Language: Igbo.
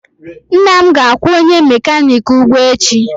Nna m ga-akwụ onye mekaniki ụgwọ echi.